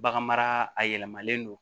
Baganmara a yɛlɛmalen don